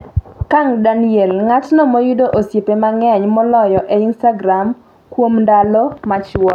Kang Daniel: ng'atno moyudo osiepe mangeny moloyo e instagram kuom ndalo machuok